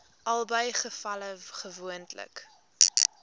albei gevalle gewoonlik